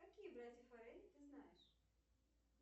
какие братья форелли ты знаешь